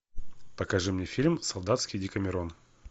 покажи мне фильм солдатский декамерон